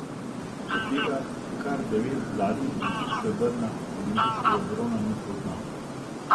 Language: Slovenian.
Od tega kar devet zlatih in tri srebrna, olimpijskega brona ni poznal.